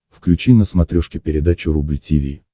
включи на смотрешке передачу рубль ти ви